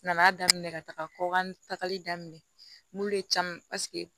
Nana daminɛ ka taga kɔkan tagali daminɛ mun de caman paseke